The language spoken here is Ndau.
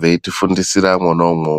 weiti fundisira mwona umwomwo.